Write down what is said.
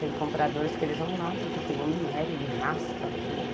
Tem compradores que eles vão lá porque tem o minério, ele raspa aquilo.